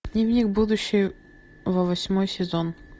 дневник будущего восьмой сезон